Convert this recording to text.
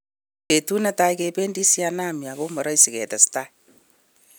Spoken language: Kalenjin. "Betut netai kebedi sidanani ako moroisi"katestai.